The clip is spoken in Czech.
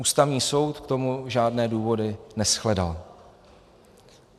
Ústavní soud k tomu žádné důvody neshledal.